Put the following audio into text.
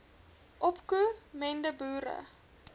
opko mende boere